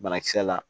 Banakisɛ la